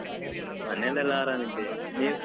ಮನೇಲೆಲ್ಲ ಆರಾಮಿದ್ದೇವೆ, ನೀವು?